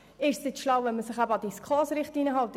Ist es schlau, wenn man sich an die SKOS-Richtlinien hält?